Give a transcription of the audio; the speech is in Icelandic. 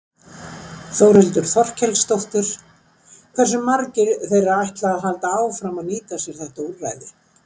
Þórhildur Þorkelsdóttir: Hversu margir þeirra ætla að halda áfram að nýta sér þetta úrræði?